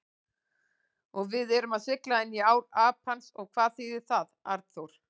Og við erum að sigla inní ár Apans og hvað þýðir það, Arnþór?